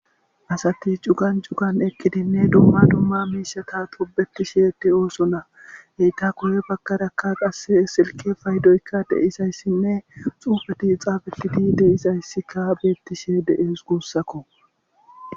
Asati cugan cugan eqqidinne dumma dumma miishata tobetishe deo'ssonna etha guye bakaraka qas silke faydoykka dei'zayssinne xuufeti xaafetidi dei'zayssi xafettid de'zay guussakko.